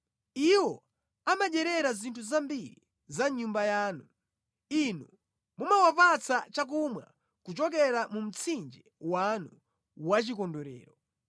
Iwo amadyerera zinthu zambiri za mʼnyumba yanu; Inu mumawapatsa chakumwa kuchokera mu mtsinje wanu wachikondwerero.